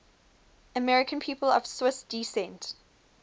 american people of swiss descent